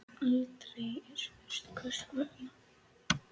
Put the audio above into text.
Aldrei er spurt hvers vegna.